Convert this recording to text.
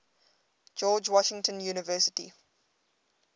george washington university